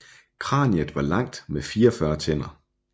Kraniet var langt med 44 tænder